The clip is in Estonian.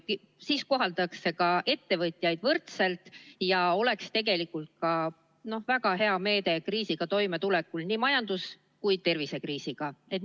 Siis koheldaks ka ettevõtjaid võrdselt ja see oleks tegelikult väga hea meede nii majandus- kui ka tervisekriisiga toimetulekul.